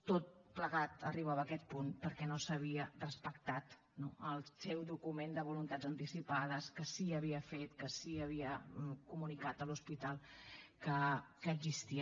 tot plegat arribava a aquest punt perquè no s’havia respectat no el seu document de voluntats anticipades que sí que havia fet que sí que havia comunicat a l’hospital que existia